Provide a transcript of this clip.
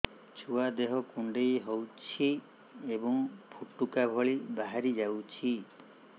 ଛୁଆ ଦେହ କୁଣ୍ଡେଇ ହଉଛି ଏବଂ ଫୁଟୁକା ଭଳି ବାହାରିଯାଉଛି